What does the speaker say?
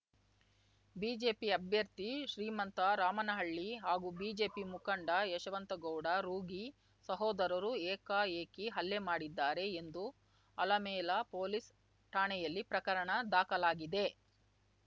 BJP ಅಭ್ಯರ್ಥಿ ಶ್ರೀಮಂತ ರಾಮನಳ್ಳಿ ಹಾಗೂ BJP ಮುಖಂಡ ಯಶವಂತಗೌಡ ರೂಗಿ ಸಹೋದರರು ಏಕಾಏಕಿ ಹಲ್ಲೆ ಮಾಡಿದ್ದಾರೆ ಎಂದು ಆಲಮೇಲ ಪೊಲೀಸ್‌ ಠಾಣೆಯಲ್ಲಿ ಪ್ರಕರಣ ದಾಖಲಾಗಿದೆ